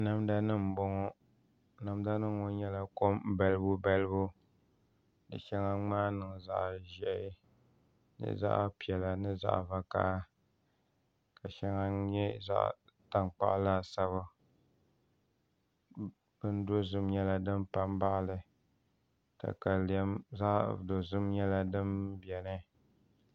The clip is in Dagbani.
Namda nim n bɔŋɔ namda nim ŋɔ nyɛla kom balibu balibu di shɛŋa ŋmaa niŋ zaɣ ʒiɛhi ni zaɣ piɛla ni zaɣ vakaɣa ka shɛŋa nyɛ zaɣ tankpaɣu laasabu bin dozim nyɛla din pa n baɣali katalɛm zaɣ dozim nyɛla din biɛni